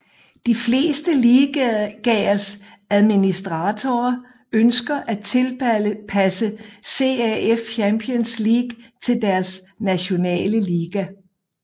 De fleste ligaers administratorer ønsker at tilpasse CAF Champions League til deres nationale liga